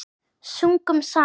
Sungum saman.